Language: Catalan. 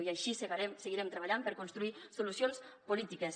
i així seguirem treballant per construir solucions polítiques